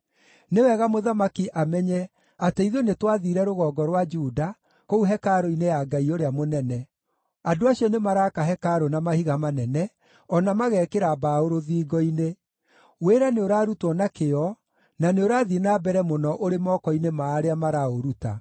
Nĩ wega mũthamaki amenye atĩ ithuĩ nĩtwathiire rũgongo rwa Juda, kũu hekarũ-inĩ ya Ngai ũrĩa mũnene. Andũ acio nĩmaraaka hekarũ na mahiga manene, o na magekĩra mbaũ rũthingo-inĩ. Wĩra nĩũrarutwo na kĩyo, na nĩũrathiĩ na mbere mũno ũrĩ moko-inĩ ma arĩa maraũruta.